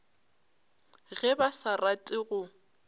ge ba sa rate go